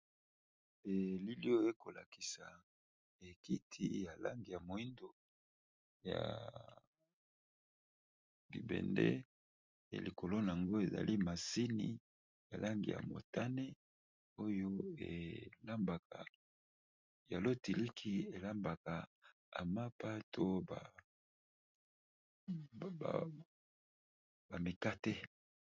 Belilio ekolakisa ekiti ya langi ya moindo ya bibende elikolo nango ezali masini ya langi ya motane oyo elmya lo tiliki elambaka amappa to bamekate.